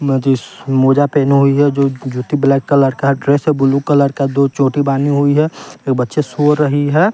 मेदिस मोजा पहनु हुई है जो जूत्ती ब्लैक कलर का है ड्रेस है बुलु कलर का दो चोटी बानी हुई है एक बच्चा सो रही है।